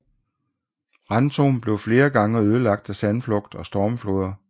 Rantum blev flere gange ødelagt af sandflugt og stormfloder